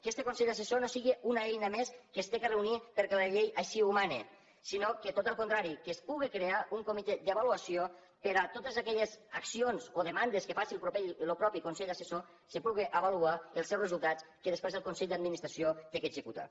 que este consell assessor no sigui una eina més que s’hagi de reunir perquè la llei així ho mana sinó que tot al contrari que es pugui crear un comitè d’avaluació per a totes aquelles accions o demandes que faci el mateix consell assessor es puguin avaluar els seus resultats que després el consell d’administració ha d’executar